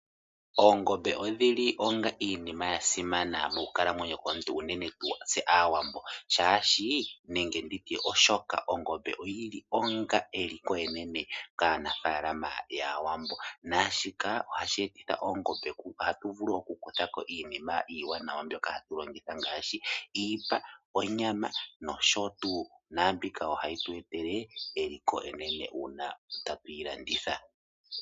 Oongombe odhi li onga iinima ya simana mokukalamwenyo komuntu unene tuu tse Aawambo, oshoka ongombe oyi li onga eliko enene kaanafaalama yAawambo naashika ohashi etitha oongombe, ohatu vulu okukutha ko iinima iiwanawa mbyoka hatu longitha ngaashi iipa, onyama nosho tuu. Mbika ohayi tu etele eliko enene uuna tatu yi landitha.